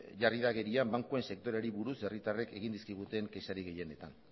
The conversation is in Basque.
da agerian bankuen sektoreari buruz herritarrek egin dizkiguten kexarik gehienetan